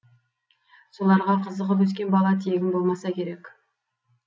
соларға қызығып өскен бала тегін болмаса керек